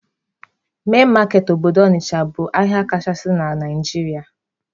Main market obodo Ọnịcha bụ ahịa kachasị na Naijiria.